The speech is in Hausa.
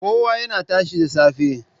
Kowa yana tashi da safe.